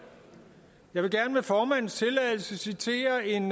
jeg vil gerne med formandens tilladelse citere en